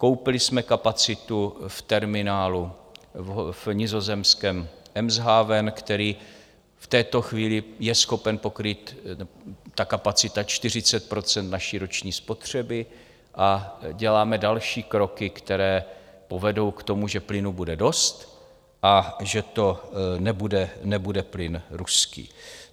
Koupili jsme kapacitu v terminálu v nizozemském Eemshavenu, který v této chvíli je schopen pokrýt - ta kapacita - 40 % naší roční spotřeby, a děláme další kroky, které povedou k tomu, že plynu bude dost a že to nebude plyn ruský.